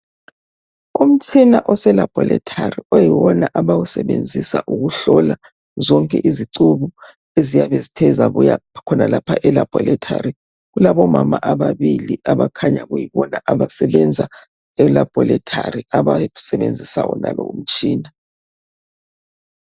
Umtshina oselabhorethari oyiwona abawusebenzisa ukuhlola zonke izicubu eziyabe zithe zabuya khonalapha elabhorethari. Kulabomama ababili abakhanya kuyibona abasebenza elabhorethari abasebenzisa wonalowo mtshina.